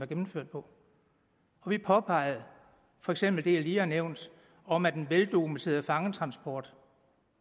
gennemført på og vi påpegede for eksempel det jeg lige har nævnt om at en veldokumenteret fangetransport